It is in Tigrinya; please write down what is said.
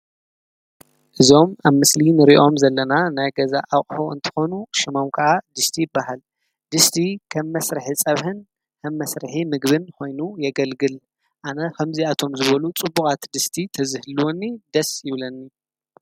እዞም ኣብ ምስሊን ርእዮም ዘለና ናይ ገዛ ኣቕሑ እንተኾኑ ሽማም ከዓ ድስቲ በሃል ድስቲ ኸም መሥርሕ ጸብህን ከብ መሥርሒ ምግብን ኾይኑ የገልግል ኣነ ኸምዚ ኣቶም ዝበሉ ጽቡቓት ድስቲ ተዝህልወኒ ደስ ይብለኒ።